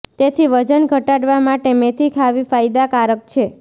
તેથી વજન ઘટાડવા માટે મેથી ખાવી ફાયદા કારક છે